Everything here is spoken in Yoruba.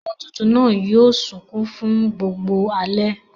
Ọmọ tuntun náà sunkún fún gbogbo alẹ́.